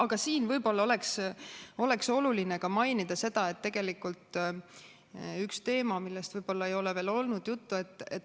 Aga siin võib-olla oleks oluline mainida ühte teemat, millest võib-olla ei ole veel olnud juttu.